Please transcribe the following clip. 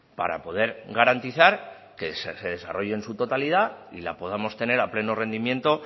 para poder garantizar que se desarrolle en su totalidad y la podamos tener a pleno rendimiento